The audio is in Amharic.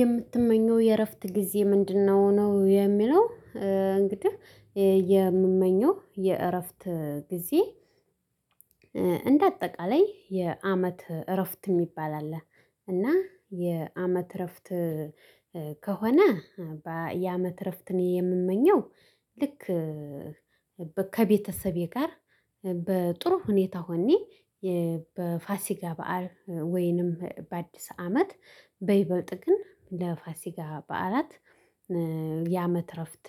የምትመኘው የእረፍት ጊዜ ምንድነው ነው የሚለው? እንግዲህ የምመኘው የእረፍት ጊዜ እንደ አጠቃላይ የአመት እረፍት የሚባል አለ። እና የአመት እረፍት። ከሆነ ያመት እረፍትን የምመኘው ልክ ከቤተሰቤ ጋር በጥሩ ሁኔታ ሆኜ በፋሲጋ በዓል ወይንም በአዲስ አመት በይበጥ ግን ለፋሲጋ በዓላት ያመት እረፍት